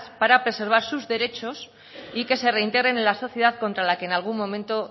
para preservar sus derechos y que se reintegren en la sociedad contra la que en algún momento